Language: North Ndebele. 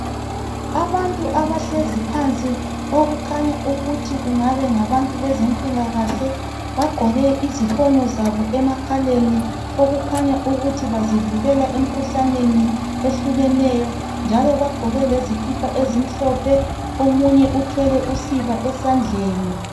Abantu abahlezi phansi okukhanya ukuthi kungabe kungabantu bezempilakahle bagqoke izifonyo zabo emakhaleni okukhanya ukuthi bazivikela emikhuhlaneni ehlukeneyo njalo bagqoke lezikipa ezimhlophe omunye uthwele usiba esandleni.